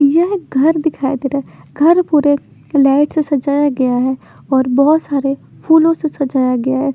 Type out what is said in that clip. यह घर दिखाई दे रहा है घर पुरे लाईट से सजाया गया है और बहोत सारे फूलो से सजाया गया है।